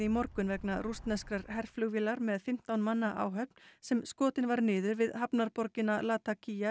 morgun vegna rússneskrar herflugvélar með fimmtán manna áhöfn sem skotin var niður við hafnarborgina